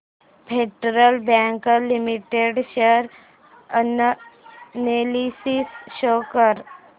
federal Bank Limited share analysis show कर